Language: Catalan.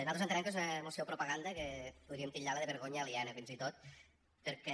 nosaltres entenem que és una moció propaganda que podríem titllar la de vergonya aliena fins i tot perquè